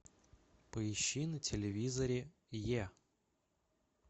поищи на телевизоре е